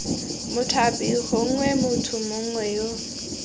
mothapi gongwe motho mongwe yo